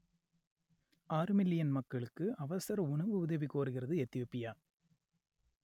ஆறு மில்லியன் மக்களுக்கு அவசர உணவு உதவி கோருகிறது எத்தியோப்பியா